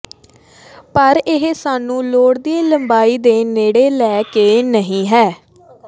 ਪਰ ਇਹ ਸਾਨੂੰ ਲੋੜੀਦੀ ਲੰਬਾਈ ਦੇ ਨੇੜੇ ਲੈ ਕੇ ਨਹੀ ਹੈ